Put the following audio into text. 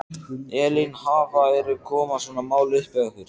Elín, hafa, eru, koma svona mál upp hjá ykkur?